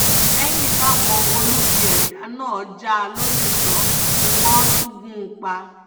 lẹ́yìn táwọn olubi ẹ̀dá náà já a lólè tán ni wọ́n tún gún un pa